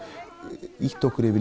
ýtt okkur yfir